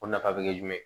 O nafa bɛ kɛ jumɛn